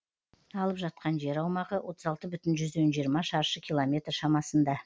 алып жатқан жер аумағы отыз алты бүтін жүзден жиырма шаршы километр шамасында